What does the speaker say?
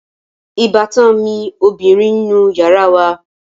Ìbátan mi ọbìrin ń nu yàrá wa